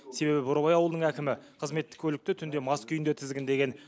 себебі бурабай ауылының әкімі қызметтік көлікті түнде мас күйінде тізгіндеген